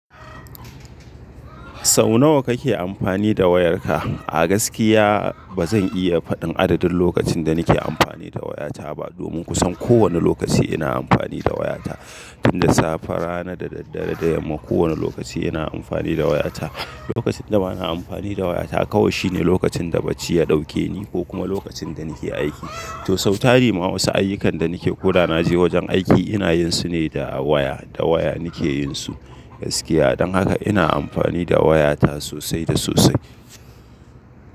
Sau nawa kake amfani da wayarka? A gaskiya ba zan iya faɗin adadin lokacin da nake amfani da wayata ba, domin kusan kowane lokaci ina amfani da wayata. Tun da safe, rana da daddare, da yamma kowane lokaci ina amfani da wayata. Lokacin da ba na amfani da wayata kawai shine lokacin da bacci ya ɗauke ni ko kuma lokacin da nake aiki. To sau tari ma wasu ayyukan da nake koda na je wajen aiki ina yin su ne da waya, da waya nake yin su. Gaskiya don haka ina amfani da wayata sosai da sosai.